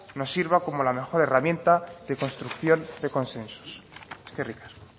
nos sirva como la mejor herramienta de construcción de consensos eskerrik asko